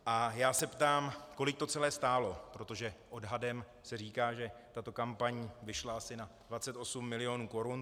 A já se ptám, kolik to celé stálo, protože odhadem se říká, že tato kampaň vyšla asi na 28 mil. korun.